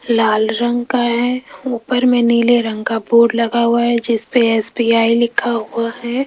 लाल रंग का है ऊपर में नीले रंग का बोर्ड लगा हुआ है जिसपे एस_बी_आई लिखा हुआ है।